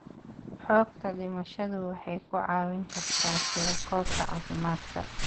Xogta dhimashadu waxay ku caawin kartaa tirakoobka caafimaadka.